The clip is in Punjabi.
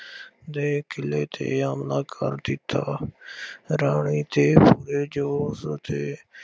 ਦੇ ਕਿਲੇ ਤੇ ਹਮਲਾ ਕਰ ਦਿੱਤਾ। ਰਾਣੀ ਅਤੇ ਅਤੇ